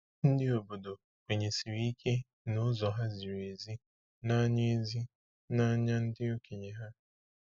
Ndị obodo kwenyesiri ike na ụzọ ha ziri ezi n’anya ezi n’anya ndị okenye ha.